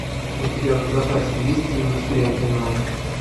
у тебя в запасе есть индустрия кино